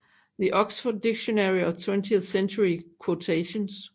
The Oxford Dictionary of Twentieth Century Quotations